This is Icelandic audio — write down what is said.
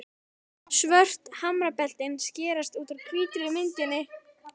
Svört hamrabeltin skerast út úr hvítri myndinni.